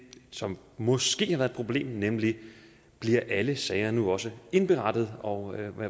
som måske har været et problem nemlig bliver alle sager nu også indberettet og